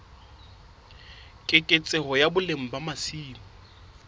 keketseho ya boleng ba masimo